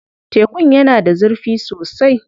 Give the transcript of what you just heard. Tekun yana da zurfi sosai.